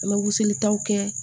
An bɛ wuseli taw kɛ